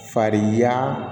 Farinya